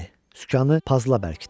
Sükanı pazla bərkitdi.